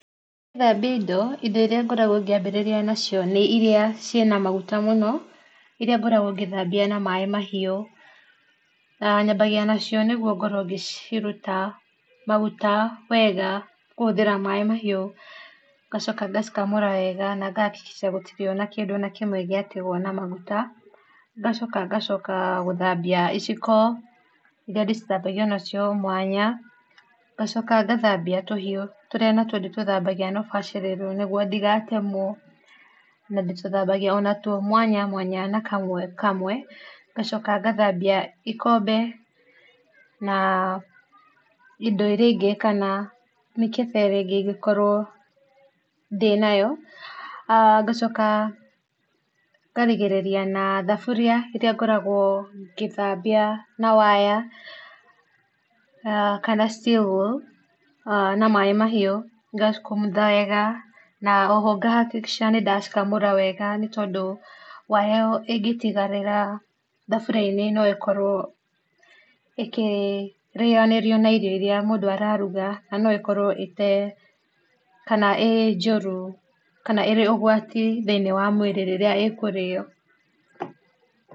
Ngĩthambia indo, indo iria ngoragwo ngĩambĩrĩria nacio nĩ iria ciĩna maguta mũno iria ngoragwo ngĩthambia na maĩ mahiũ. Nyambagia nacio nĩguo ngorwo ngĩciruta maguta wega kũhũthĩra maĩ mahiũ ngacoka ngacikamũra wega na nga hakikisha gũtirĩ ona kĩndũ ona kĩmwe gĩatigwo na maguta ngacoka ngacoka gũthambia iciko iria ndĩcithambagia nacio mwanya, ngacoka ngathambia tũhiũ tũrĩa natuo ndĩtũthambagia na ũbacĩrĩru nĩguo ndigatemwo, na ndĩtũthambagia onatuo mwanya mwanya na kamwe kamwe, ngacoka ngathambia ikombe na indo iria ingĩ kana mĩkebe ĩrĩa ĩngĩ ingĩkorwo ndĩnayo. Ngacoka ngarigĩrĩria na thaburia iria ngoragwo ngĩthambia na waya kana steel wool, na maĩ mahiũ ngacikumutha wega na oho nga hakikisha nĩndacikamũra wega nĩ tondũ waya ĩyo ĩngĩtigwo thaburia-inĩ no ĩkorwo ĩkĩrĩanĩrio na irio iria mũndũ araruga na no ĩkorwo kana ĩ njũru kana ĩrĩ ũgwati thĩinĩ wa mwĩrĩ rĩrĩa ĩkũrĩo.